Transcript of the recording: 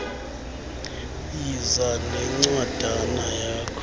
yiza nencwadana yakho